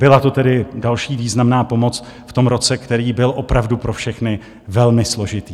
Byla to tedy další významná pomoc v tom roce, který byl opravdu pro všechny velmi složitý.